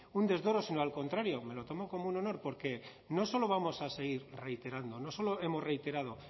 un desdoro sino al contrario me lo tomo como un honor porque no solo vamos a seguir reiterando no solo hemos reiterado